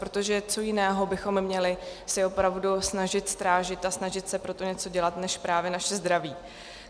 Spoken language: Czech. Protože co jiného bychom si měli opravdu snažit strážit a snažit se pro to něco dělat než právě naše zdraví?